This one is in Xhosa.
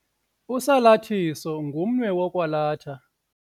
Usalathiso ngumnwe wokwalatha.